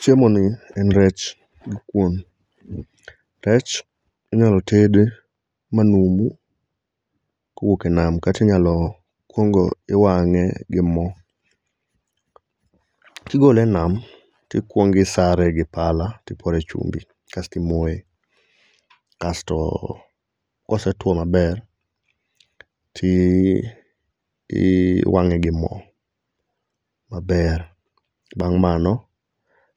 Chiemoni en rech gi kuon. Rech inyalo tedi manumu kowuok e nam kata inyalo kuongo iwang'e gi mo. Kigole enam to ikuongo isare gi pala to ipore chumbi kaeto imoye kasto kosetuo maber to i i iwang'e gimo maber. Bang' mano,